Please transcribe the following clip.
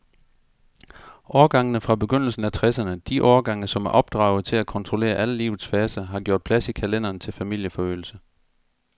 Årgangene fra begyndelsen af tresserne, de årgange, som er opdraget til at kontrollere alle livets faser, har gjort plads i kalenderen til familieforøgelse.